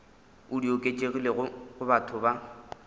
di oketšegilego go batho ba